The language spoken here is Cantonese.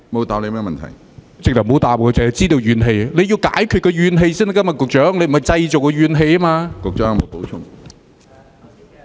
他根本沒有答覆，只說知道有怨氣，局長是要解決民間的怨氣，而非製造怨氣。